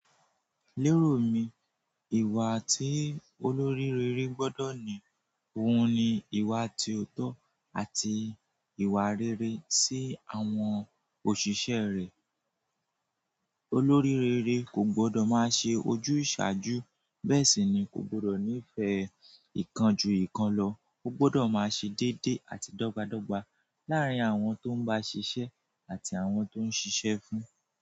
Lérò mi, ìwà tí olórí rere gbọ́dọ̀ ní, òhun ni ìwà tí ọ̀tọ̀ àti ìwà rere sí àwọn òṣìṣẹ́ rẹ̀. Olórí rere kò gbọdọ̀ má ṣe ojúsàájú bẹ́ẹ̀ sì ni kò gbọdọ̀ nífẹ̀ẹ́ ikan ju ikan lọ. Ó gbọdọ̀ má ṣe déedé àti dọ́gba dọ́gba làárín àwọn tó ń bá ṣiṣẹ́ àti àwọn tó ń ṣiṣẹ́ fún un.